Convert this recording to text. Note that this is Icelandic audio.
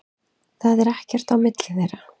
Það er ekkert á milli þeirra.